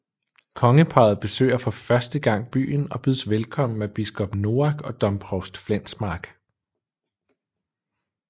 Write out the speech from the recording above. Kongeparret besøger for første gang byen og bydes velkommen af biskop Noack og domprovst Flensmark